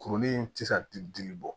Kuruli in ti se ka ti dili bɔ